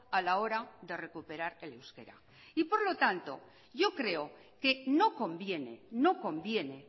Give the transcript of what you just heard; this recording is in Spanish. a la hora de recuperar el euskera y por lo tanto yo creo que no conviene no conviene